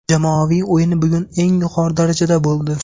Jamoaviy o‘yin bugun eng yuqori darajada bo‘ldi.